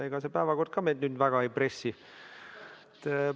Ega see päevakord ka meid väga ei pressi.